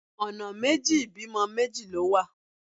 Ọ̀nà méjì ìbímọ méjì ló wà.